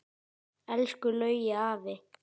Elsku Laugi afi.